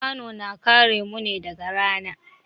Kwano na kare mu ne daga rana.